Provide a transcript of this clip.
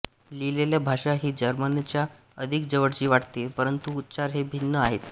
लिहिलेली भाषा ही जर्मनच्या अधिक जवळची वाटते परंतु उच्चार हे भिन्न आहेत